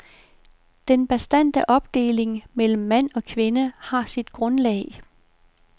Den bastante opdeling mellem mand og kvinde har sit grundlag.